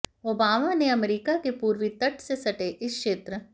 Obama ने America के पूर्वी तट से सटे इस क्षेत्र